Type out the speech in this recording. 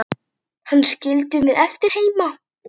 Hana skildum við eftir heima.